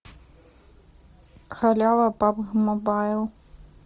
халява пабг мобайл